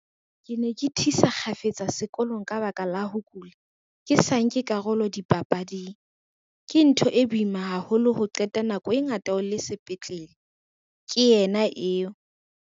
"Ke ne ke thisa kgafetsa sekolong ka lebaka la ho kula, ke sa nke karolo le dipapading. Ke ntho e boima haholo ho qeta nako e ngata sepetlele," ke yena eo.